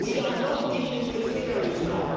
We are not dealing with theories now.